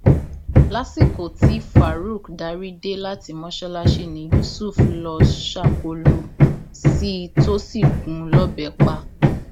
lópin ọsẹ tó kọjá aṣíwájú bọlá tìǹbù ṣàbẹwò sáwọn ọba pàtàkì mẹrin nípínlẹ ogun